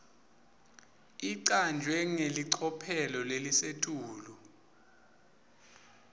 icanjwe ngelicophelo lelisetulu